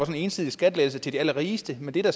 en ensidig skattelettelse til de allerrigeste men det der